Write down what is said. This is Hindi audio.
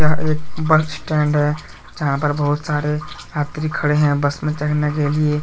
यह एक बस स्टैंड है जहाँ पर बहुत सारे यात्री खड़े है बस पर चढ़ने के लिए।